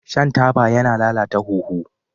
Shan taba yana lalata huhu.